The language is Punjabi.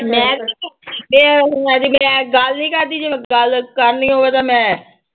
ਮੈਂ ਇਹ ਹਜੇ ਮੈਂ ਗੱਲ ਨੀ ਕਰਦੀ ਜਦੋਂ ਗੱਲ ਕਰਨੀ ਹੋਵੇ ਤਾਂ ਮੈਂ